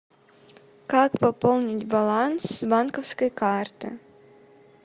как пополнить баланс с банковской карты